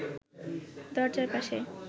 দরজার পাশে